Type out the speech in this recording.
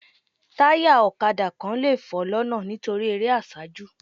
Taya ọ̀kadà kan lè fọ́ lọ́nà nítorí eré àsájù